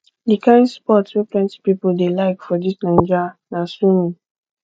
di kain sport wey plenty pipo dey like for dis naija na swimming